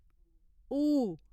ऊ